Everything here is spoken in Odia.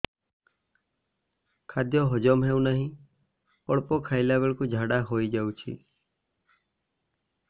ଖାଦ୍ୟ ହଜମ ହେଉ ନାହିଁ ଅଳ୍ପ ଖାଇଲା ବେଳକୁ ଝାଡ଼ା ହୋଇଯାଉଛି